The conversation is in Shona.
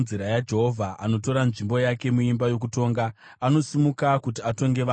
Jehovha anotora nzvimbo yake muimba yokutonga; anosimuka kuti atonge vanhu.